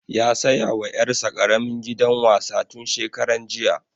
Ya saya wa ƴar sa ƙaramin gidan wasa tun shekaran jiya